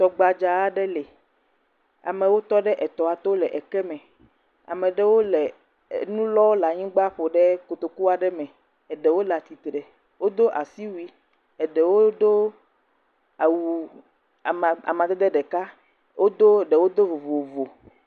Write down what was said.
Tɔ gbadza aɖe le. Amwo tɔ ɖe etɔa to le ekeme. Amewo le nu lɔ le anyigba ƒo ɖe kotoku aɖe me. Eɖewo le attire. Wodo asiwui. Wodo awu ama, amadede ɖeka. Wodo, ɖewo do vovovo.